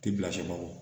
Ti bila sɛ bagɔ